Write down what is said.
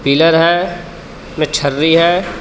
Pillar हे मे छरी हे.